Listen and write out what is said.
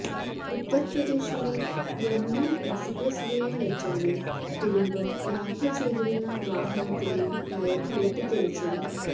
ഉത്തർപ്രദേശിലെ യമുന എക്സ്പ്രസ് വേയിൽ വച്ചാണ് കുടുംബം യാത്ര ചെയ്തിരുന്ന വാഹനത്തിന്റെ ടയർ പൊട്ടിത്തെറിച്ചത്